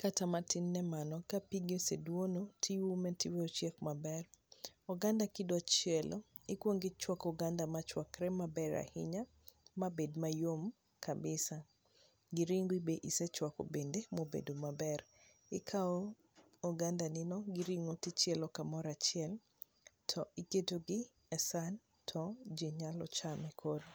kata matin ne mano. Ka pigi oseduono tiume tiwe ochiek maber. Oganda kidwa chielo, ikuongo ichwako oganda machwakre maber ahinya mabed mayom kabisa, gi ringi bende isechwako bende ma obedo maber. Ikao ogandani no gi ring'o tichielo kamoro achiel, to iketo gi e san to ji nyalo chamo koro.